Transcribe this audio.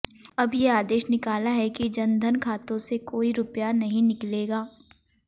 अब ये आदेश निकाला है कि जन धन खातों से कोई रुपया नहीं निकलेगा